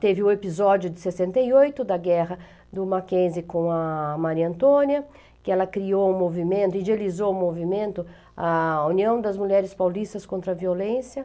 Teve o episódio de sessenta e oito, da guerra do Mackenzie com a Maria Antônia, que ela criou um movimento, idealizou um movimento, a União das Mulheres Paulistas contra a Violência.